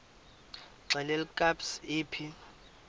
xelel kabs iphi